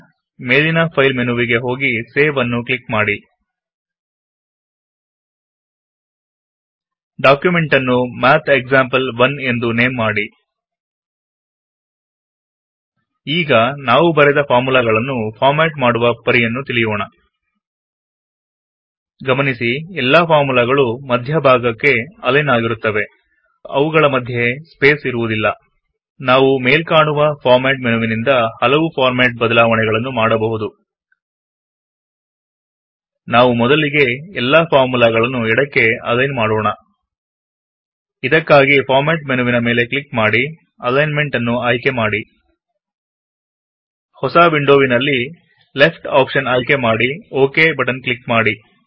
ಮೇಲಿನ ಫೈಲ್ ಮೆನುವಿಗೆ ಹೋಗಿ ಸೇವ್ ಅನ್ನು ಕ್ಲಿಕ್ ಮಾಡಿ ಡಾಕ್ಯುಮೆಂಟ್ ಅನ್ನು ಮಾತ್ ಎಕ್ಸಾಂಪಲ್ 1 ಎಂದು ನೇಮ್ ಮಾಡಿ ಈಗ ನಾವು ಬರೆದ ಫಾರ್ಮುಲಾಗಳನ್ನು ಫಾರ್ಮೆಟ್ ಮಾಡುವ ಪರಿಯನ್ನು ತಿಳಿಯೋಣ ನೀವೆ ಕಾಣುವಂತೆ ಯೆಲ್ಲ ಫಾರ್ಮುಲಾಗಳು ಮಧ್ಯ ಭಾಗಕ್ಕೆ ಅಲೈನ್ ಆಗಿರುತ್ತವೆ ಅವುಗಳ ಮಧ್ಯೆ ಸ್ಪೇಸ್ ಇರುವುದಿಲ್ಲ ನಾವು ಮೇಲ್ಕಾಣುವ ಫಾರ್ಮೆಟ್ ಮೆನುವಿನಿಂದ ಹಲವು ಫಾರ್ಮೆಟ್ ಬದಲಾವಣೆ ಗಳನ್ನು ಮಾಡಬಹುದು ನಾವು ಮೊದಲಿಗೆ ಎಲ್ಲಾ ಫಾರ್ಮುಲಾ ಗಳನ್ನು ಎಡಕ್ಕೆ ಅಲೈನ್ ಮಾಡೋಣ ಇದಕ್ಕಾಗಿ ಫಾರ್ಮೆಟ್ ಮೆನುವಿನ ಮೇಲೆ ಕ್ಲಿಕ್ ಮಾಡಿ ಅಲೈನ್ಮೆಂಟ್ ಅನ್ನು ಆಯ್ಕೆ ಮಾಡಿ ಹೊಸಾ ವಿಂಡೋವಿನಲ್ಲಿ ಲೆಫ್ಟ್ ಆಪ್ಷನ್ ಕ್ಲಿಕ್ ಮಾಡಿ ಓ ಕೆ ಬಟನ್ ಕ್ಲಿಕ್ ಮಾಡಿ